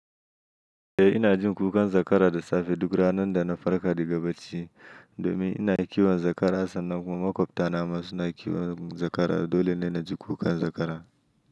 Eh ina jin kukan zakara da safe duk ranar da na farka daga bacci. Domin ina kiwon zakara sannan kuma makwabta na ma suna kiwon zakara. Dole ne na ji kukan zakara.